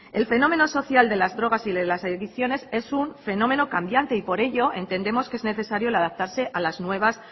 el fenómeno social de las drogas y de las adicciones es un fenómeno cambiante y por ello entendemos que es necesario adaptarse a las nuevas